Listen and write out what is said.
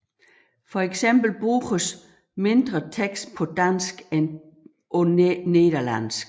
For eksempel bruges mindre tekst på dansk end på nederlansk